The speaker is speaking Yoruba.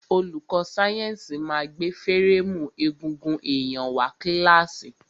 Olùkó sáyẹ́nsì ma gbé férémù egungun èyàn wá sí kílàsì.